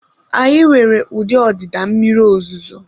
Anyị nwere ụdị ọdịda mmiri ozuzo